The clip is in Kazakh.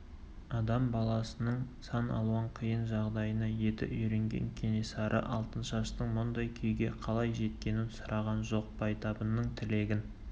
адам баласының сан алуан қиын жағдайына еті үйренген кенесары алтыншаштың мұндай күйге қалай жеткенін сұраған жоқ байтабынның тілегін